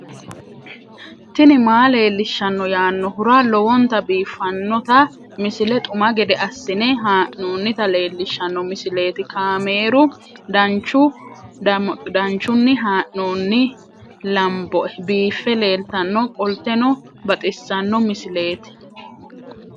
tini maa leelishshanno yaannohura lowonta biiffanota misile xuma gede assine haa'noonnita leellishshanno misileeti kaameru danchunni haa'noonni lamboe biiffe leeeltanno qolteno baxissanno misileeti